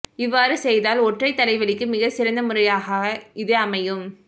இவ்வாறு செய்தால் ஒற்றை தலைவலிக்கு மிக சிறந்த முறையாக இது அமையும்